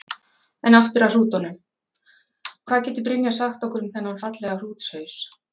En aftur af hrútunum, hvað getur Brynja sagt okkur um þennan fallega hrútshaus?